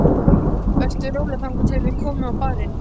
Vertu rólegur, þangað til við komum á barinn